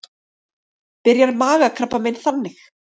Byrjar magakrabbamein þannig?